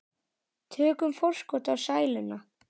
Tökum forskot á sæluna.